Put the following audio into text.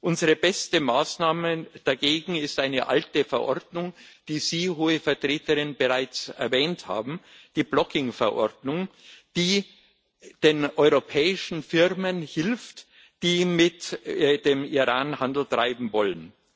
Unsere beste Maßnahme dagegen ist eine alte Verordnung, die Sie, Hohe Vertreterin, bereits erwähnt haben die Blocking Verordnung, die den europäischen Firmen hilft, die mit dem Iran Handel treiben wollen.